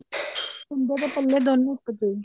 ਕੁੰਡੇ ਨੇ ਪੱਲੇ ਦੋਨੋ ਇੱਕ ਚੋਂ ਹੀ